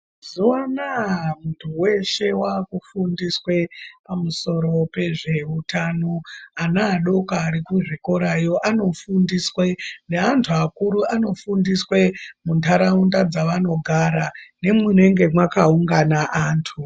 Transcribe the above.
Mazuwa anaya muntu weshe wakufundiswe pamusoro pezveutano. Ana adoko arikuzvikorayo anofundiswe , neantu akuru anofundiswe mundaraunda dzavanogara nemwunenge mwakaungana antu.